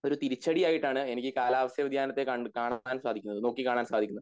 ഒരു തിരിച്ചടി ആയിട്ട് ആണ് എനിക്ക് കാലാവസ്ഥ വ്യധ്യാനത്തെ കണ്ട് കാണുവാൻ സാധിക്കുന്നത് നോക്കി കാണാൻ സാധിക്കുന്നത്